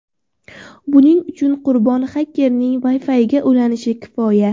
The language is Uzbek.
Buning uchun qurbon xakerning Wi-Fi’iga ulanishi kifoya.